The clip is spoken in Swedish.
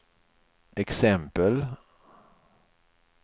exempel